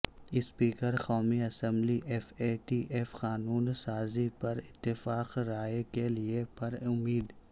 speaker قومی assembly F A T F قانون سازی پر اتفاق رائے کیلئے پر امید